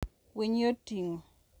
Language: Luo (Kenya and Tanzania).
winy yot ting`o.